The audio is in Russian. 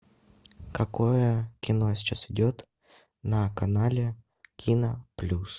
какое кино сейчас идет на канале кино плюс